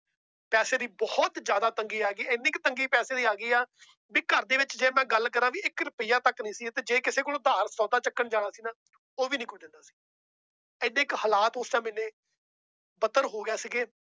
ਪੈਸੇ ਦੀ ਬਹੁਤ ਜ਼ਿਆਦਾ ਤੰਗੀ ਆ ਗਈ ਇੰਨੀ ਕੁ ਤੰਗੀ ਪੈਸੇ ਦੀ ਆ ਗਈ ਆ ਵੀ ਘਰਦੇ ਵਿੱਚ ਜੇ ਮੈਂ ਗੱਲ ਕਰਾਂ ਵੀ ਇੱਕ ਰੁਪਈਏ ਤੱਕ ਨੀ ਸੀ ਤੇ ਜੇ ਕਿਸੇ ਕੋਲੋਂ ਉਧਾਰ ਸੌਦਾ ਚੁੱਕਣ ਜਾਣਾ ਸੀ ਨਾ ਉਹ ਵੀ ਨੀ ਕੁੱਝ ਦਿੰਦਾ ਸੀ ਇੰਨੇ ਕੁ ਹਾਲਾਤ ਉਸ time ਇੰਨੇ ਬੱਤਰ ਹੋ ਗਏ ਸੀਗੇ